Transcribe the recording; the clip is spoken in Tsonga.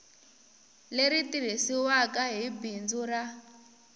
leri tirhisiwaku hi bindzu ra